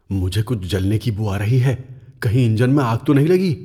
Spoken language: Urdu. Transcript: مجھے کچھ جلنے کی بو آ رہی ہے۔ کہیں انجن میں آگ تو نہیں لگی؟